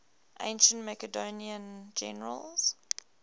ancient macedonian generals